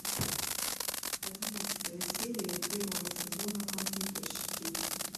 одиннадцатая серия первого сезона компьютерщики